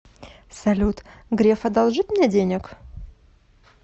салют греф одолжит мне денег